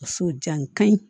Muso jan ka ɲi